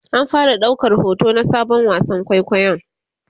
an fara daukar hoto na Sabon wasan kwaikwayon